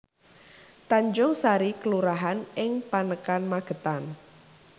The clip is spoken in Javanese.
Tanjungsari kelurahan ing Panekan Magetan